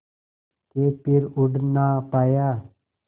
के फिर उड़ ना पाया